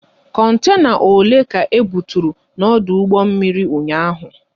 Kontena ole ka ebuturu n'ọdụ mmiri ụnyaahụ?